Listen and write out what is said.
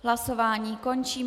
Hlasování končím.